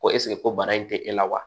Ko ɛseke ko bana in tɛ e la wa